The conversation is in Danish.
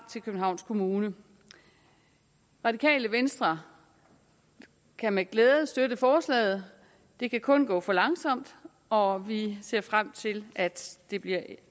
til københavns kommune radikale venstre kan med glæde støtte forslaget det kan kun gå for langsomt og vi ser frem til at det bliver